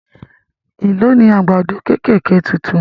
Èló ni Àgádágodo kẹ̀kẹ́ títún?